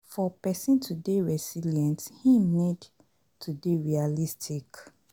For person to dey resilient, im need to dey realistic